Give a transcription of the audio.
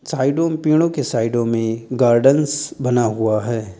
साइडों में पेड़ों के साइडों में गार्डेन्स बना हुआ है।